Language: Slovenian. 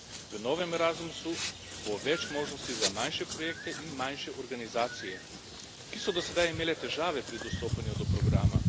V novem Erasmusu bo več možnosti za manjše projekte in manjše organizacije, ki so do sedaj imele težave pri dostopanju do programa.